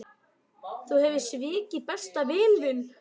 Þú hefur svikið besta vin þinn.